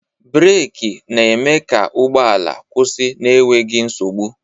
Breeki na-eme ka ụgbọala kwụsị n'enweghi nsogbu.